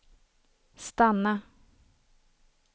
stanna